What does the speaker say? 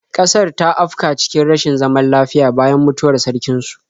Ƙasar ta afka cikin rashin zaman lafiya bayan mutuwar sarkin su.